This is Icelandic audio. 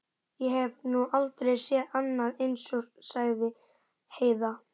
Ég hef nú aldrei séð annað eins, sagði Heiða.